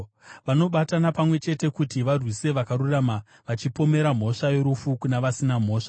Vanobatana pamwe chete kuti varwise vakarurama, vachipomera mhosva yorufu kuna vasina mhosva.